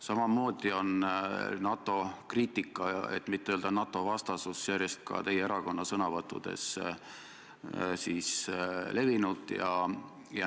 Samamoodi on NATO-kriitika, et mitte öelda NATO-vastasus järjest ka teie erakonna sõnavõttudes levinud.